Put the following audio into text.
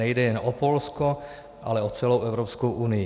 Nejde jen o Polsko, ale o celou Evropskou unii."